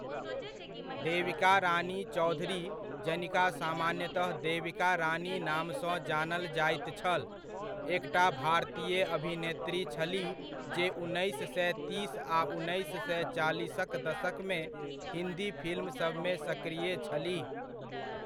देविका रानी चौधरी जनिका सामान्यतः देविका रानीक नामसँ जानल जाइत छल, एकटा भारतीय अभिनेत्री छलीह जे उन्नैस सए तीस आ उन्नैस सए चालीसक दशकमे हिन्दी फिल्मसभमे सक्रिय छलीह।